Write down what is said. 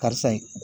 Karisa in